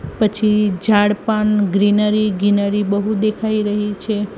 પછી ઝાડ પણ ગ્રીનરી ગ્રીનરી બહુ દેખાય રહી છે.